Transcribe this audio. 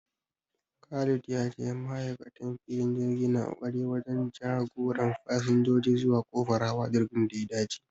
Khalifa ya ce ma'aikatan filin jirgi na ƙoƙari wajen jagoran fasinjoji zuwa kofar hawa jirgin da ya dace